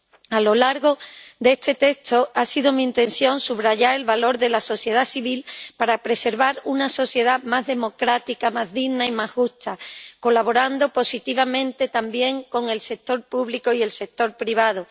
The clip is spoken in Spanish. A lo largo de este texto ha sido mi intención subrayar el valor de la sociedad civil para preservar una sociedad más democrática, más digna y más justa, colaborando positivamente también con el sector público y el sector privado.